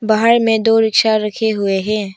बाहर में दो रिक्शा रखे हुए हैं।